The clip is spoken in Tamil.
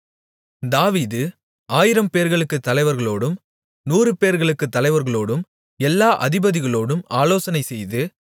தாவீது ஆயிரம்பேர்களுக்குத் தலைவர்களோடும் நூறுபேர்களுக்குத் தலைவர்களோடும் எல்லா அதிபதிகளோடும் ஆலோசனைசெய்து